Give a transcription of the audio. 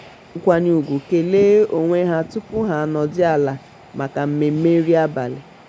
ha ji nkwanye ugwu kelee onwe ha tupu ha anọdụ ala maka mmemme nri abalị.